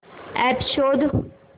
app शोध